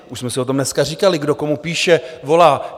Už jsme si o tom dneska říkali, kdo komu píše, volá.